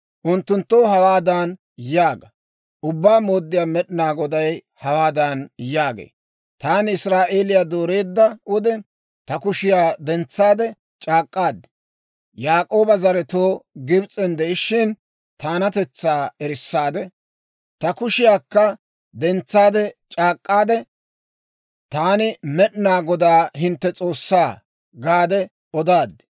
Unttunttoo hawaadan yaaga; ‹Ubbaa Mooddiyaa Med'inaa Goday hawaadan yaagee; «Taani Israa'eeliyaa dooreedda wode ta kushiyaa dentsaade c'aak'k'aad, Yaak'ooba zaretoo Gibs'en de'ishiina, taanatetsaa erissaade, ta kushiyaakka dentsaade c'aak'k'aadde, Taani Med'inaa Godaa hintte S'oossaa» gaade odaad.